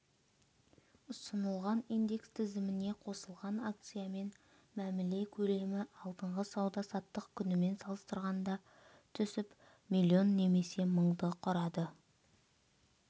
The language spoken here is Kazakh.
ұсынылған индекс тізіміне қосылған акциямен мәміле көлемі алдыңғы сауда-саттық күнімен салыстырғанда түсіп миллион немесе мыңды құрады